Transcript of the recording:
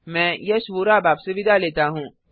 मैं यश वोरा अब आपसे विदा लेता हूँ